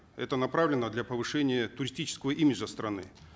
это направлено для повышения туристического имиджа страны